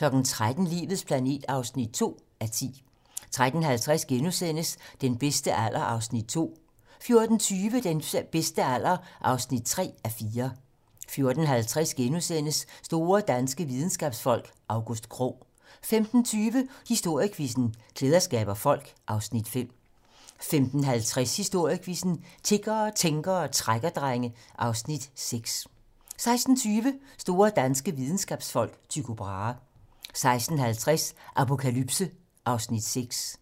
13:00: Livets planet (2:10) 13:50: Den bedste alder (2:4)* 14:20: Den bedste alder (3:4) 14:50: Store danske videnskabsfolk: August Krogh * 15:20: Historiequizzen: Klæder skaber folk (Afs. 5) 15:50: Historiequizzen: Tiggere, tænkere og trækkerdrenge (Afs. 6) 16:20: Store danske videnskabsfolk: Tycho Brahe 16:50: Apokalypse (Afs. 6)